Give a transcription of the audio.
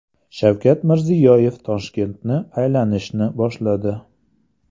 Shavkat Mirziyoyev Toshkentni aylanishni boshladi.